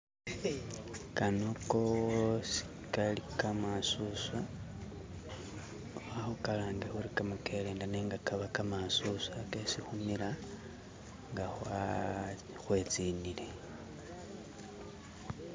Kano koosi kali kamasuswa, khakhukalange khuli kamakelenda nenga kabakamasuswa kesi khumila nga khwetsinile.